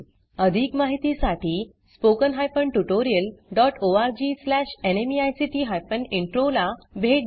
अधिक माहितीसाठी spoken hyphen tutorial dot ORG slash NMEICT hyphen intro ला भेट द्या